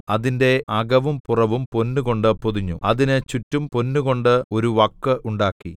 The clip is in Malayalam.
അതിന്റെ അകവും പുറവും പൊന്നുകൊണ്ട് പൊതിഞ്ഞു അതിന് ചുറ്റും പൊന്നുകൊണ്ട് ഒരു വക്ക് ഉണ്ടാക്കി